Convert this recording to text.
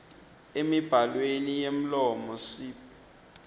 emibhalweni yemlomo sib